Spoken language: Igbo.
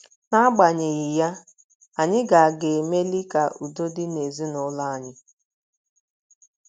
N’agbanyeghị ya, anyị ga ga - emeli ka udo dị n’ezinụlọ anyị.